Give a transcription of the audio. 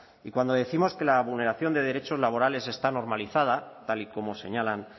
y cuando décimos que la vulneración de derechos laborales está normalizada tal y como señalan